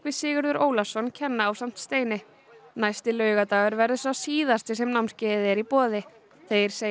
Sigurður Ólafsson kenna ásamt Steini næsti laugardagur verður sá síðasti sem námskeiðið er í boði þeir segja